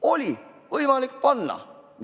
Oli võimalik panna!